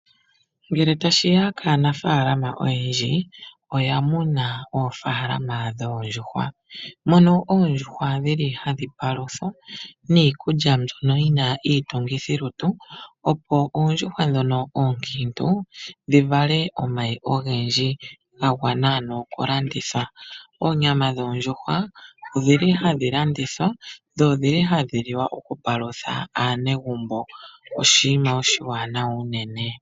Ngele ta shiya kanafaalama oyendji oya muna oofaalama dhoondjuhwa, mono oondjuhwa hadhi paluthwa niikulya mbyono yina iitungithi lutu, opo oondjuhwa ndhono oonkiintu dhi vale omayi ogendji ga gwana ano oku landitha. Oonyama dhoondjuhwa odhili hadhi landithwa, dho odhili hadhi liwa oku palutha aanegumbo oshiima oshiwanawa unene.